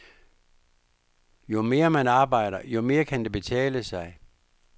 Jo mere man arbejder, jo mere kan det betale sig.